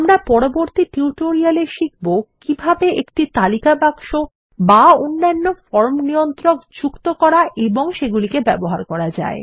আমরা পরবর্তী টিউটোরিয়ালে শিখব কিভাবে একটি তালিকা বাক্স অথবা অন্যান্য ফর্ম নিয়ন্ত্রক যুক্ত করা এবং সেগুলিকে ব্যবহার করা যায়